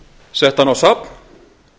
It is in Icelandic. sett hana á safn